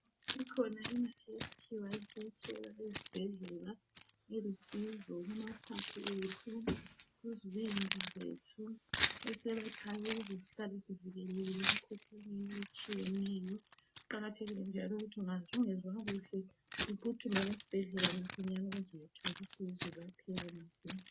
Kukhona Imithi yesikhiwa esiyathola ezibhedlela loba emakilinika kanye lemakhemisi elusizo ngakho kuqakathekile ukuthi nxa umuntu engezwa kuhle agijimele esibhedlela ukuyahlola.